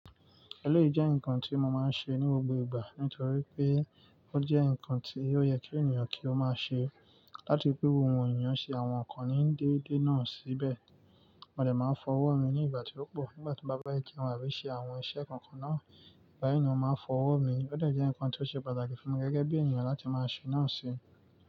Ẹlẹ́yi jẹ́ nǹkan tí mo máa ń ṣe ní gbogbo ìgbà, nítorí pé ó jẹ́ nǹkan tí ó yẹ kí ènìyàn kí ó máa ṣe láti pẹ́ wùwù ènìyàn ṣe àwọn ǹkan ní déédé náà síbẹ̀. Mo dè máa n fọ ọwọ́ mi ní ìgbà tí ó pọ̀, nígbà tí n bá fe jeun abí i ṣe àwọn iṣẹ́ kankan náà, báyìí ni mo máa n fọ ọwọ́ mi. Ó dè jẹ́ nǹkan tí ó ṣe pàtàkì fún mi gẹ́gẹ́ bí ènìyàn láti máa ṣe náà ṣi.